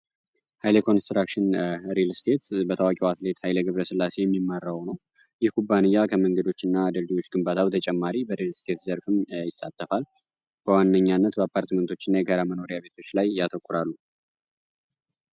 ሃይሌ ኮንስትራክሽን ሪልስቴት በታዋቂው አትሌት ኃይለግብረ ስላሴ የሚመራው ነው ይህ ኩባንያ ከመንገዶች እና ድልድዮች ግንባታ ተጨማሪ በሪልስቴት ዘርፍም አይሳተፋል። በዋነኛነት በአፓርትመንቶች እና የጋራ መኖሪያ ቤቶች ላይ እያተኩራሉ።